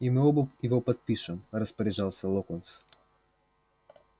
и мы оба его подпишем распоряжался локонс